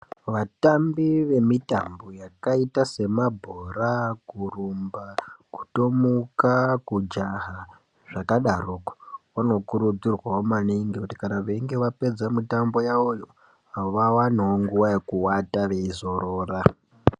Vatambi vemitambo yakaita semabhora, kurumba kutomuka kujaha zvakadaroko. Vanokurudzirwavo maningi kuti kana veinge vapedza mitambo yavoyo vavanevo nguva yekuvata veizorora.